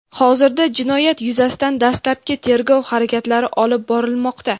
Hozirda jinoyat yuzasidan dastlabki tergov harakatlari olib borilmoqda.